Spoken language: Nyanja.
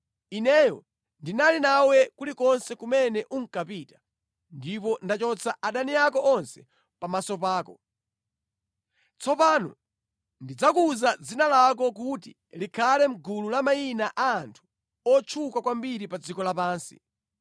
Ineyo ndinali nawe kulikonse kumene unkapita, ndipo ndachotsa adani ako onse pamaso pako. Tsopano ndidzakuza dzina lako kuti likhale mʼgulu la mayina a anthu otchuka kwambiri pa dziko lapansi.